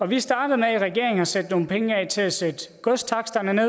vi startede med i regeringen at sætte nogle penge af til at sætte godstaksterne